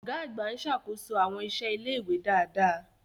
Ọ̀gá àgbà ń ṣàkóso àwọn iṣẹ́ ilé-ìwé dáadáa.